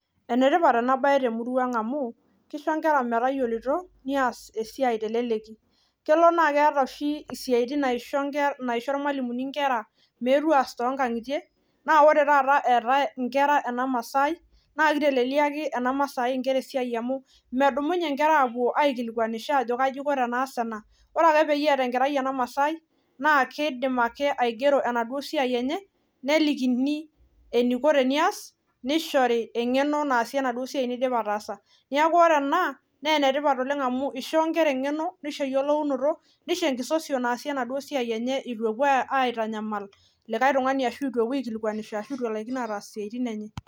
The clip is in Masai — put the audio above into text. Enetipat ena baye temurua ang amu kisho inkera matayiolito nias esiai teleleki kelo naa keeta oshi isiaitin naisho inke naisho irmalimuni inkera meetu aas tonkang'itie naa ore taata eetae inkera ena masai naa kiteleliaki ena masai inkera esiai amu medumunye inkera aapuo aikilikuanisho ajo kaji iko tenaas ena ore peyie eeta enkerai ena masai naa keidim ake aigero enaduo siai enye nelikini eniko tenias nishori eng'eno naasie enaduo siai nidipa ataasa niaku ore ena nenetipat oleng amu ishoo inkera eng'eno nisho eyiolounoto nisho enkisosion naasie enaduo siai enye itu epuo ae aitanyamal likae tung'ani ashu itu epuo aikilikuanisho ashu itu elaikino ataas isiaitin enye.